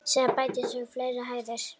Síðan bættust við fleiri hæðir.